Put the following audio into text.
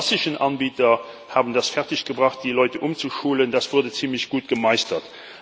Die klassischen Anbieter haben es fertiggebracht, die Leute umzuschulen. Das wurde ziemlich gut gemeistert.